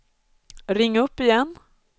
ring upp igen